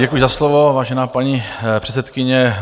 Děkuji za slovo, vážená paní předsedkyně.